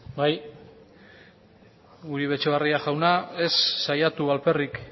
bai uribe etxebarria jauna ez saiatu alperrik